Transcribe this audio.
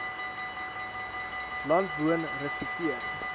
land woon respekteer